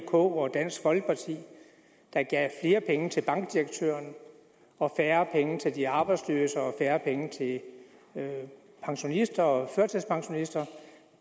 k og dansk folkeparti der gav flere penge til bankdirektøren og færre penge til de arbejdsløse og færre penge til pensionister og førtidspensionister